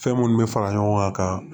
Fɛn minnu bɛ fara ɲɔgɔn kan ka